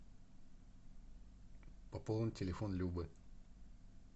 пополнить телефон любы